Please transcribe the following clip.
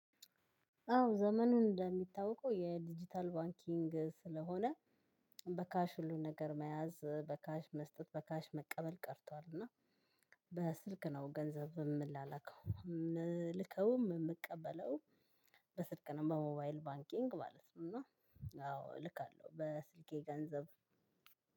አዎ ዘመኑን እንደሚታወቀው የዲጂታል ባንኪንግ ስለሆነ በካሽ ሁሉን ነገር መያዝ በካሽ መስጠት በካሽ መቀበል ቀርቷል። እና በስልክ ነው ገንዘብ የምላላከው ምልከውም ምቀበለው። በስልክ ነው በሞባይል ባንኪንግ ማለት ነው። እና አዎ እልካለሁ በስልኬ ገንዘብ